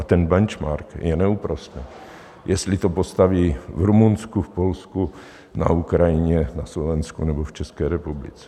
A ten benchmark je neúprosný - jestli to postaví v Rumunsku, v Polsku, na Ukrajině, na Slovensku nebo v České republice.